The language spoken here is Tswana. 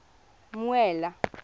mmuela